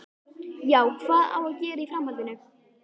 Já, hvað á að gera í framhaldinu?